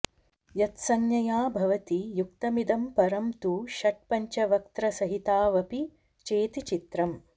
यत्संज्ञया भवति युक्तमिदं परं तु षट्पञ्चवक्त्रसहितावपि चेति चित्रम्